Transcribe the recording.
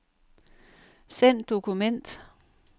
Send dokument.